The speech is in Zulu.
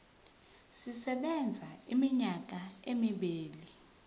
sisebenza iminyaka emibili